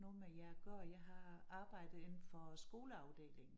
Noget med jer at gøre jeg har arbejdet indenfor skoleafdelingen